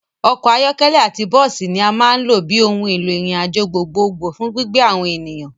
Ọkọ̀ ayọ́kẹ́lẹ́ àti bọ́ọ́sì ní a máa ń lò bíi ohùn èlò ìrìn àjò gbogbo gbò fún gbígbé àwọn ènìyàn.